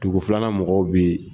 Dugu filanan mɔgɔ bɛ.